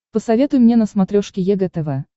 посоветуй мне на смотрешке егэ тв